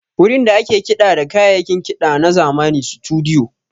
Wurin da ake kiɗa da kayayyakin kiɗa na zamani Situdiyo.